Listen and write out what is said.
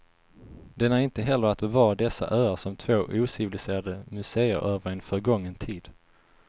Den är inte heller att bevara dessa öar som två ociviliserade museer över en förgången tid.